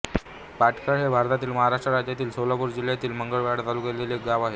पाटखळ हे भारतातील महाराष्ट्र राज्यातील सोलापूर जिल्ह्यातील मंगळवेढा तालुक्यातील एक गाव आहे